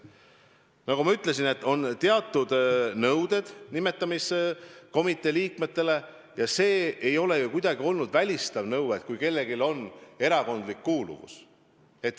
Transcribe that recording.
Nagu ma ütlesin, on teatud nõuded nimetamiskomitee liikmetele, ja see ei ole ju kuidagi olnud välistav nõue, kui kellelgi on erakondlik kuuluvus.